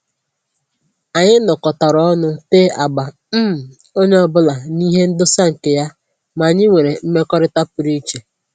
Anyị nọkọtara ọnụ tee agba, um onye ọbụla na ihe ndosa nke ya, ma anyị nwere mmekọrịta pụrụ iche